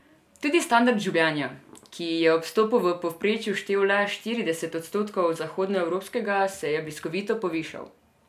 Tudi standard življenja, ki je ob vstopu v povprečju štel le štirideset odstotkov zahodnoevropskega, se je bliskovito povišal.